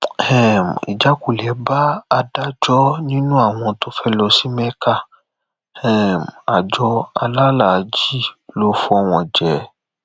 um ìjákulẹ bá àádọjọ nínú àwọn tó fẹẹ lọ sí mẹka um àjọ alálàájì ló fọ wọn jẹ